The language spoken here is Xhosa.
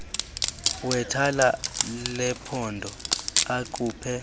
wethala lephondo akhuphe